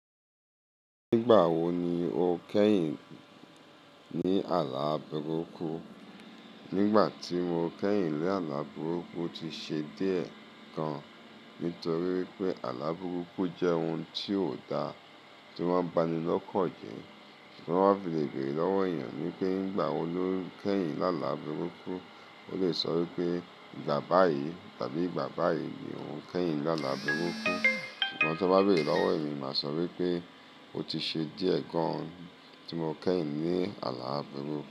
Nígbà wo ni o kẹ́yìn ní àlá burukù? Nígbà tí mo kẹ́yìn la àlá abẹ́rókù, ti ṣe díẹ̀ gan. Nítorí pé àlá burukù jẹ́ ohun tí ò da, tí o mọ́n bá ni lọ́kàn jẹ. Tí won bá fi le bèrè lọ́wọ́ èeyàn wipé nígbà wo lo kẹ́yìn lálá burukù, ó lè sọ wípé ìgbà báyìí tàbí ìgbà báyìí ni ó kẹ́yìn lálá burukù. Sugbon tó bá bèrè lọ́wọ́ èmi, máa sọ wípé ó ti ṣe díẹ̀ gan tí mo kẹ́yìn ní àlá burukù.